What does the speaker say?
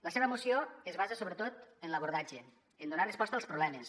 la seva moció es basa sobretot en l’abordatge en donar resposta als problemes